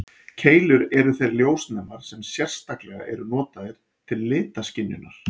Keilur eru þeir ljósnemar sem sérstaklega eru notaðir til litaskynjunar.